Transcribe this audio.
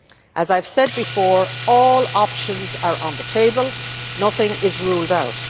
As I have said before, all options are on the table and nothing is ruled out.